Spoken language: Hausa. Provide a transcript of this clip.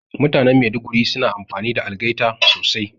Mutanan Maiduguri suna amfani da algaita sosai